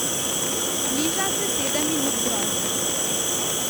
Bliža se sedem minut groze.